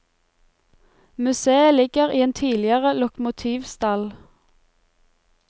Museet ligger i en tidligere lokomotivstall.